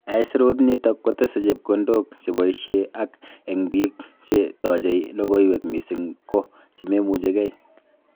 Aisirut nito kotese chepkondok cheboisie ak eng biik che taachei logoiywek missing ko chememuchigei